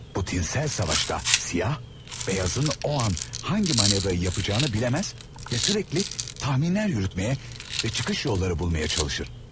Bu tinsel savaşta siyah, beyazın o an hangi manevrayı yapacağını biləməz və sürekli tahminlər yürütmeye və çıkış yolları bulmaya çalışır.